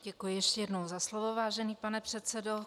Děkuji ještě jednou za slovo, vážený pane předsedo.